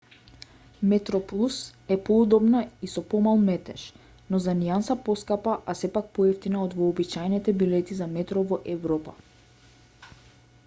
метроплус е поудобна и со помал метеж но за нијанса поскапа а сепак поевтина од вообичаените билети за метро во европа